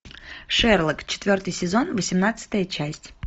шерлок четвертый сезон восемнадцатая часть